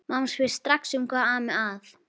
Mamma spyr strax hvað ami að.